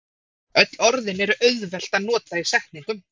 Öll orðin er auðvelt að nota í setningum.